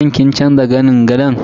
Shin kin canza zanin gadon?